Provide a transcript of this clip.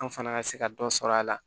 An fana ka se ka dɔ sɔrɔ a la